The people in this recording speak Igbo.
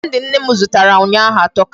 Kandi nne m zụtara ụnyaahụ atọka.